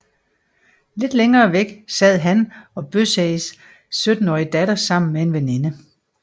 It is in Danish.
Lidt længere væk sad han og Bøseis syttenårige datter sammen med en veninde